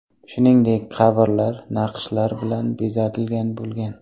Shuningdek, qabrlar naqshlar bilan bezatilgan bo‘lgan.